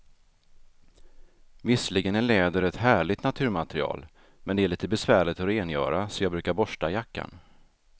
Visserligen är läder ett härligt naturmaterial, men det är lite besvärligt att rengöra, så jag brukar borsta jackan.